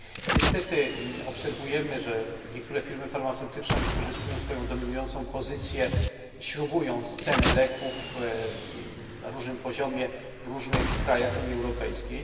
Niestety obserwujemy, że niektóre firmy farmaceutyczne wykorzystują swoją dominującą pozycję, śrubując ceny leków na różnym poziomie w różnych krajach Unii Europejskiej.